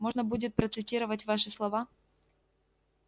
можно будет процитировать ваши слова